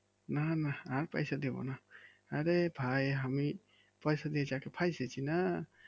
না না আর পয়সা দিবনা আরে ভাই আমি পয়সা দিয়ে যা ফাইসেছিনা